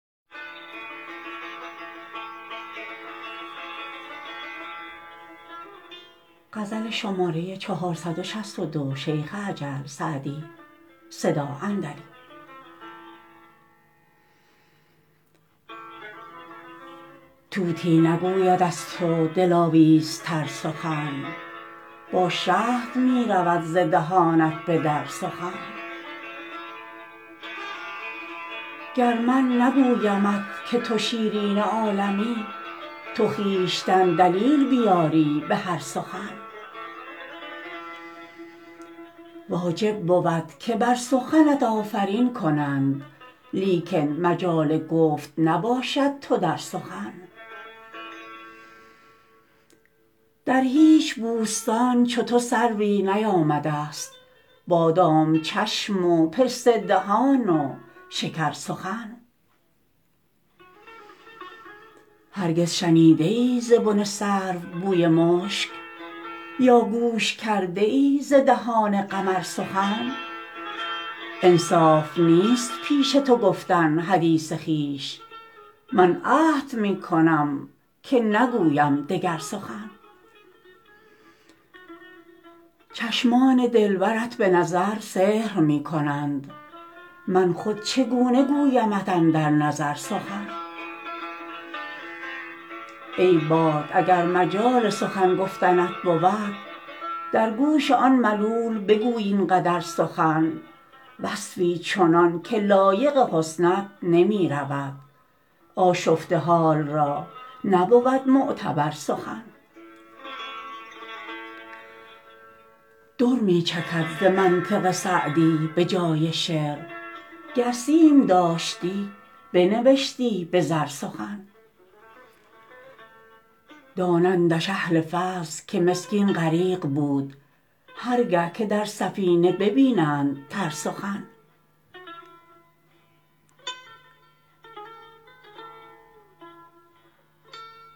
طوطی نگوید از تو دلاویزتر سخن با شهد می رود ز دهانت به در سخن گر من نگویمت که تو شیرین عالمی تو خویشتن دلیل بیاری به هر سخن واجب بود که بر سخنت آفرین کنند لیکن مجال گفت نباشد تو در سخن در هیچ بوستان چو تو سروی نیامده ست بادام چشم و پسته دهان و شکرسخن هرگز شنیده ای ز بن سرو بوی مشک یا گوش کرده ای ز دهان قمر سخن انصاف نیست پیش تو گفتن حدیث خویش من عهد می کنم که نگویم دگر سخن چشمان دلبرت به نظر سحر می کنند من خود چگونه گویمت اندر نظر سخن ای باد اگر مجال سخن گفتنت بود در گوش آن ملول بگوی این قدر سخن وصفی چنان که لایق حسنت نمی رود آشفته حال را نبود معتبر سخن در می چکد ز منطق سعدی به جای شعر گر سیم داشتی بنوشتی به زر سخن دانندش اهل فضل که مسکین غریق بود هر گه که در سفینه ببینند تر سخن